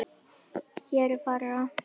Hér er farið rangt með.